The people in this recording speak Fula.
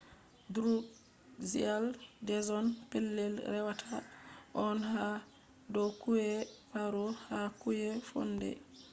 drukgyal dzong pelell rewataa on haa dow kauyee paro ha kauye phondey